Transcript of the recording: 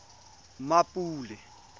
mmapule